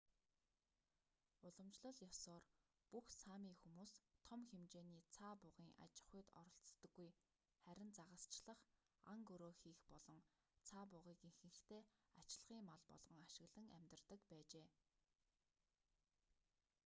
уламжлал ёсоор бүх сами хүмүүс том хэмжээний цаа бугын аж ахуйд оролцдоггүй харин загасчлах ан гөрөө хийх болон цаа бугыг ихэнхдээ ачлагын мал болгон ашиглан амьдардаг байжээ